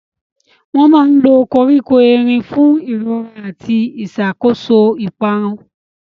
Wọ́n máa ń lo koríko erin fún ìrora àti ìṣàkóso ìparun.